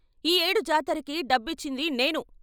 ఈ ఏడు జాతరకి డబ్బిచ్చింది నేను.